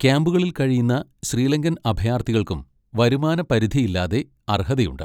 ക്യാമ്പുകളിൽ കഴിയുന്ന ശ്രീലങ്കൻ അഭയാർത്ഥികൾക്കും വരുമാന പരിധിയില്ലാതെ അർഹതയുണ്ട്.